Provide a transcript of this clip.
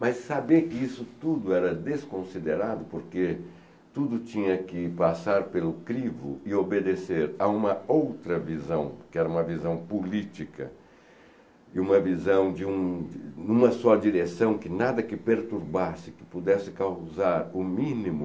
Mas saber que isso tudo era desconsiderado porque tudo tinha que passar pelo crivo e obedecer a uma outra visão, que era uma visão política e uma visão de um de uma só direção que nada que perturbasse, que pudesse causar o mínimo